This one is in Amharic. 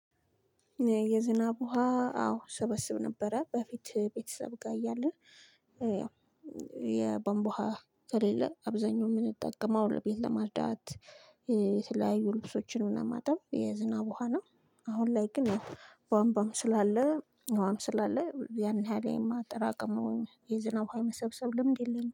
የዝናብ ውሃ አዎ እሰበስብ ነበረ በፊት ቤተሰብ ጋር እያለ ያው የቧንቧ ከሌለ አብዛኛው የምንጠቀመው ለቤት ለማጽዳት የተለያዩ ልብሶች ንም ለማጠብ የዝናብ ውሃ ነው። አሁን ላይ ግን ቧን ቧም ስላለ ውሃም ስላለ ያን ያህ ል የማጠራቀም ወይም የዝናብ የመሰብሰብ ልምድ የለኝም